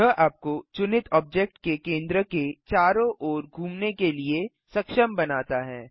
यह आपको चुनित ऑब्जेक्ट के केंद्र के चारों ओर घूमने के लिए सक्षम बनाता है